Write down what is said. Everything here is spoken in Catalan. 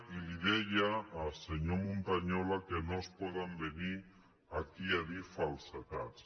i li deia senyor montañola que no es pot venir aquí a dir falsedats